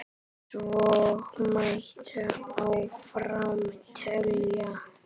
Svo mætti áfram telja.